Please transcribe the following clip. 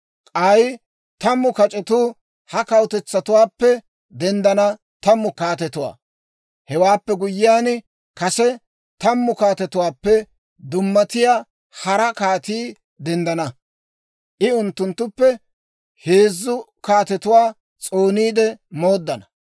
K'ay tammu kac'etuu ha kawutetsatuwaappe denddana tammu kaatetuwaa. Hewaappe guyyiyaan, kase tammu kaatetuwaappe dummatiyaa hara kaatii denddana. I unttunttuppe heezzu kaatetuwaa s'ooniide mooddana.